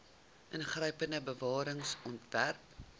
ingrypende bewaring ontwerp